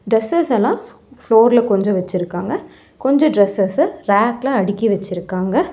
Dresses எல்லா floor ல கொஞ்சோ வச்சிருக்காங்க கொஞ்சோ டிரஸ்சஸ்ச ல ரேக் ல அடுக்கி வச்சிருக்காங்க.